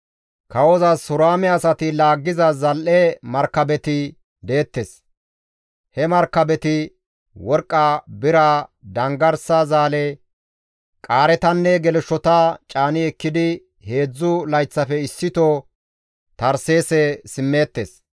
Kawozas Huraame asati laggiza zal7e markabeti deettes; he markabeti worqqa, bira, danggarsa zaale, qaaretanne geleshshota caani ekkidi heedzdzu layththafe issito Tarseese simmeettes.